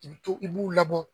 I bɛ to i b'u labɔ